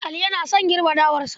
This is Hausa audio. Ali yana girbe dawarsa.